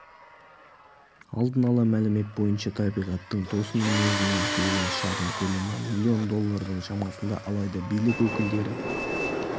алдын ала мәлімет бойынша табиғаттың тосын мінезінен келген шығын көлемі миллион доллардың шамасында алайда билік өкілдері